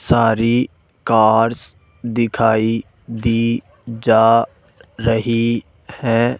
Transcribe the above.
सारी कार्स दिखाई दी जा रही है।